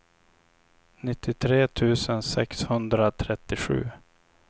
nittiotre tusen sexhundratrettiosju